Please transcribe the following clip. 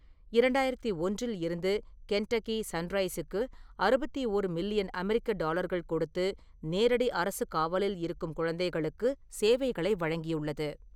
இரண்டாயிரத்து ஒன்றில் இருந்து கென்டக்கி சன்ரைஸுக்கு அறுபத்தி ஓரு மில்லியன் அமெரிக்க டாலர்கள் கொடுத்து நேரடி அரசுக் காவலில் இருக்கும் குழந்தைகளுக்கு சேவைகளை வழங்கியுள்ளது.